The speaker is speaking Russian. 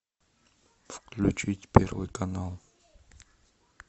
включить первый канал